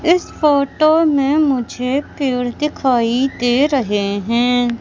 इस फोटो में मुझे पेड़ दिखाई दे रहे है।